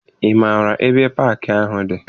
Ị maara ebe paakị ahụ dị?